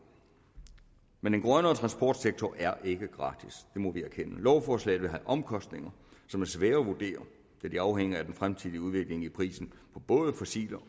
men en grønnere transportsektor er ikke gratis det må vi erkende lovforslaget vil have omkostninger som er svære at vurdere da de afhænger af en fremtidig udvikling i prisen på både fossile